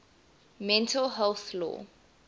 mental health law